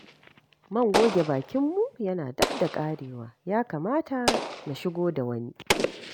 Man goge bakinmu yana dab da ƙarewa, ya kamata na shigo da wani.